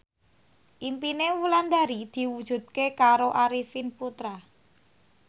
impine Wulandari diwujudke karo Arifin Putra